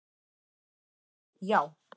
Það var allt og sumt, já.